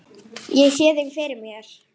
Ég sé þig fyrir mér.